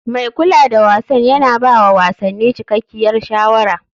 Mai kula da wasan yana ba wa wasanni cikakkiyar shawara.